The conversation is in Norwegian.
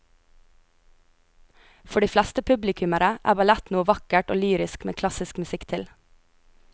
For de fleste publikummere er ballett noe vakkert og lyrisk med klassisk musikk til.